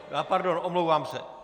Pardon, omlouvám se.